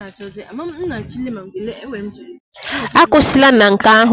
Akwụsịla na nke ahụ!